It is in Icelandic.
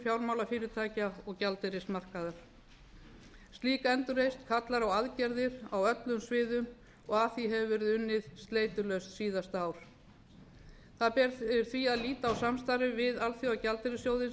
fjármálafyrirtækja og gjaldeyrismarkaðar slík endurreisn kallar á aðgerðir á öllum sviðum og að því hefur verið unnið sleitulaust síðasta ár það ber því að líta á samstarfið við alþjóðagjaldeyrissjóðinn sem